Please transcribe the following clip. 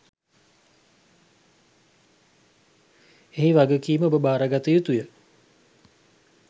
එහි වගකීම ඔබ භාරගත යුතුය.